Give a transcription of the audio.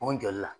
O jɔli la